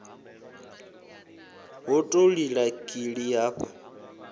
hu ḓo lila kili hafha